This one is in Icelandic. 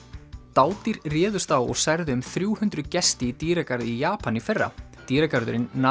dádýr réðust á og særðu um þrjú hundruð gesti í dýragarði í Japan í fyrra dýragarðurinn